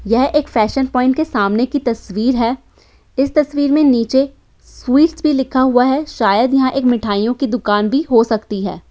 यह एक fashion point के सामने की तस्वीर है। इस तस्वीर में नीचे स्वीट्स भी लिखा हुआ है शायद यहाँ एक मिठाइयों की दुकान भी हो सकती है।